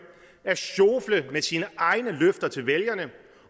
at sjofle med sine egne løfter til vælgerne